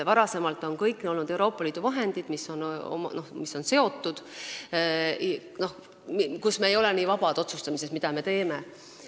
Varem olid need kõik Euroopa Liidu vahendid, mille puhul me ei olnud nii vabad otsustamises, mida me nendega teeme.